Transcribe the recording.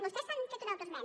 vostès s’han fet una autoesmena